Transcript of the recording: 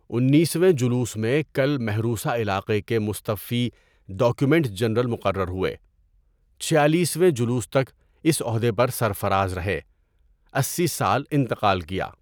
انیسویں جلوس میں کل محروسہ علاقے کے مستوفی ڈاکومنٹ جنرل مقرر ہوئے۔ چھیالیسویں جلوس تک اس عہدہ پر سرفراز رہے۔ اسی سال انتقال کیا۔